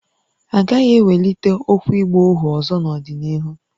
A gaghị ewelite okwu ịgba ohu ọzọ n’ọdịnihu